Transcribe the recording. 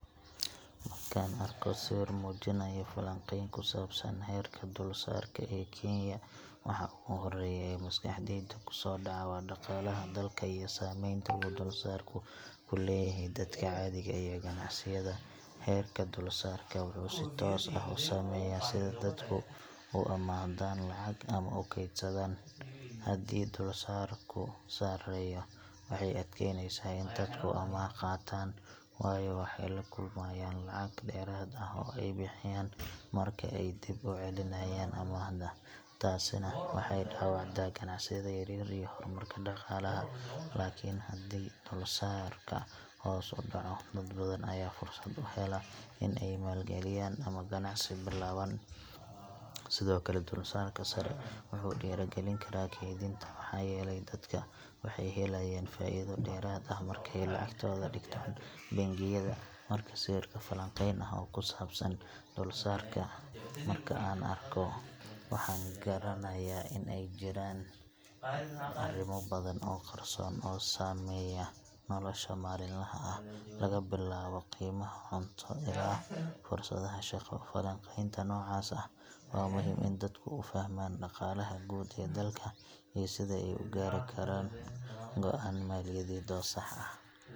Markaan arko sawir muujinaya falanqeyn ku saabsan heerka dulsaarka ee Kenya, waxa ugu horreeya ee maskaxdayda ku soo dhaca waa dhaqaalaha dalka iyo saamaynta uu dulsaarku ku leeyahay dadka caadiga ah iyo ganacsiyada. Heerka dulsaarka wuxuu si toos ah u saameeyaa sida dadku u amaahdaan lacag ama u kaydsadaan. Haddii dulsaarku sareeyo, waxay adkeyneysaa in dadku amaah qaataan, waayo waxay la kulmayaan lacag dheeraad ah oo ay bixiyaan marka ay dib u celinayaan amaahda. Taasina waxay dhaawacdaa ganacsiyada yaryar iyo horumarka dhaqaalaha. Laakiin haddii dulsaarka hoos u dhaco, dad badan ayaa fursad u hela in ay maal-geliyaan ama ganacsi bilaabaan. Sidoo kale, dulsaarka sare wuxuu dhiirrigelin karaa kaydinta, maxaa yeelay dadka waxay helayaan faa’iido dheeraad ah marka ay lacagtooda dhigtaan bangiyada. Marka sawir falanqeyn ah oo ku saabsan dulsaarka aan arko, waxaan garanayaa in ay jiraan arrimo badan oo qarsoon oo saameeya nolosha maalinlaha ah – laga bilaabo qiimaha cunto ilaa fursadaha shaqo. Falanqeynta noocaas ah waa muhiim si dadku u fahmaan dhaqaalaha guud ee dalka iyo sida ay u gaari karaan go’aan maaliyadeed oo sax ah.